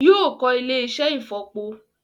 Yóò kọ́ ilé-iṣẹ́ ìfọ̀po